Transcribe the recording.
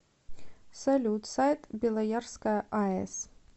салют сайт белоярская аэс